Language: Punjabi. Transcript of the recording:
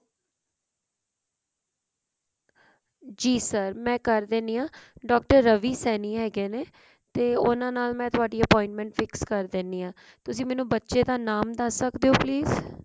ਜੀ sir ਮਾਈ ਕਰ ਦਿੰਨੀ ਆ doctor ਰਵੀ ਸੈਣੀ ਹੈਗੇ ਨੇ ਤੇ ਮੈਂ ਉਹਨਾਂ ਨਾਲ ਤੁਹਾਡੀ appointment fix ਕਰ ਦਿੰਨੀ ਆ ਤੁਸੀਂ ਮੈਨੂੰ ਬੱਚੇ ਦਾ ਨਾਮ ਦੱਸ ਸਕਦੇ ਹੋ please